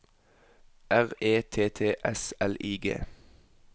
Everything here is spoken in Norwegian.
R E T T S L I G